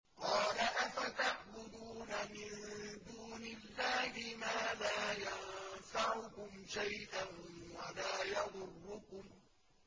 قَالَ أَفَتَعْبُدُونَ مِن دُونِ اللَّهِ مَا لَا يَنفَعُكُمْ شَيْئًا وَلَا يَضُرُّكُمْ